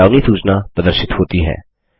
एक चेतावनी सूचना प्रदर्शित होती है